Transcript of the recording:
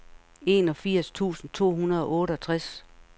enogfirs tusind to hundrede og otteogtres